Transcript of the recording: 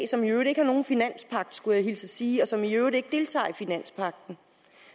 som i øvrigt ikke har nogen finanspagt skulle jeg hilse at sige og som i øvrigt ikke deltager i finanspagten